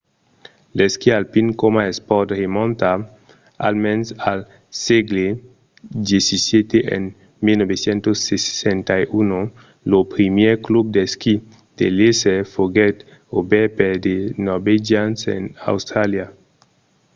l'esquí alpin coma espòrt remonta almens al sègle xvii e en 1861 lo primièr club d'esquí de léser foguèt obèrt per de norvegians en austràlia